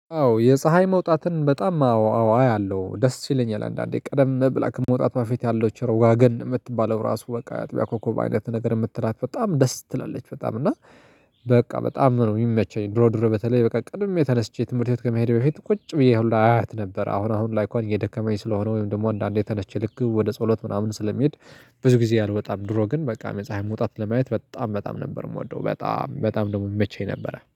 አዎ የፀሀይ መውጣትን በጣም አዎ አያለሁ ደስ ይለኛል አንዳንዴ ቀደም ብላ ከመውጣቷ ፊት ያለችው ዋገን የምትባለው ራሱ በቃ አጥቢያ ኮኮብ አይነት ነገር የምትላት በጣም ደስ ትላለች በጣም እና። በቃ በጣም ነው የሚመቸኝ ድሮ ድሮ በተለይ በቃ ቀድሜ ተነስቼ ትምህርት ቤት ከመሄዴ በፊት ቁጭ ብዬ ሁላ አያት ነበር። አሁን አሁን ላይ እኳን እየደከመኝ ስለሆነ ወይም ደግሞ አንዳንዴ ተነስች ልክ ወደ ጸሎት ምናምን ስለሚሄድ። ብዙ ጊዜ አልወጣም። ድሮ ግን በቃ የፀሀይ መውጣት ለማየት በጣም በጣም ነበር የምወደው በጣም በጣም ደሞ ሚመቸኝ ነበረ